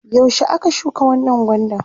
yaushe aka shuka wannan gwandan?